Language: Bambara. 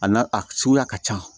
A n'a a suguya ka ca